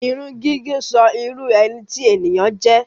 Irun gígẹ̀ sọ irú ẹni tí ènìyàn jẹ́.